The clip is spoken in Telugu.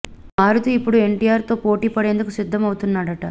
ఇక మారుతీ ఇప్పుడు ఎన్టీఆర్ తో పోటీ పడేందుకు సిద్దం అవుతున్నాడట